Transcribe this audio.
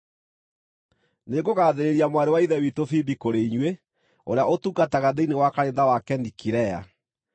Nĩngũgaathĩrĩria mwarĩ wa Ithe witũ Fibi kũrĩ inyuĩ, ũrĩa ũtungataga thĩinĩ wa kanitha wa Kenikirea.